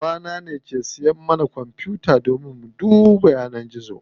Baba na ne yake siya mana kwanfuta domin mu ringa duba yanar gizo.